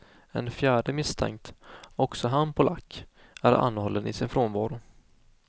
En fjärde misstänkt, också han polack, är anhållen i sin frånvaro.